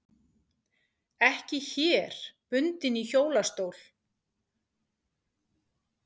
Ekki hér bundin í hjólastól.